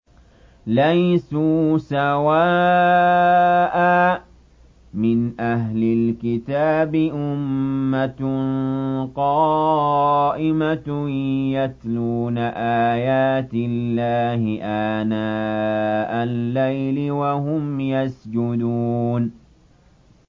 ۞ لَيْسُوا سَوَاءً ۗ مِّنْ أَهْلِ الْكِتَابِ أُمَّةٌ قَائِمَةٌ يَتْلُونَ آيَاتِ اللَّهِ آنَاءَ اللَّيْلِ وَهُمْ يَسْجُدُونَ